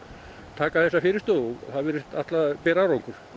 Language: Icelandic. taka þessa fyrirstöðu og það virðist ætla að bera árangur